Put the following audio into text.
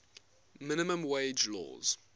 minimum wage laws